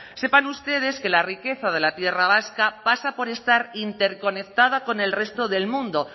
sepan ustedes que la riqueza de la tierra vasca pasa por estar interconectada con el resto del mundo